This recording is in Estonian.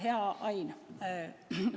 Hea Ain!